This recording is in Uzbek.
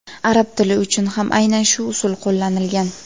Arab tili uchun ham aynan shu usul qo‘llanilgan.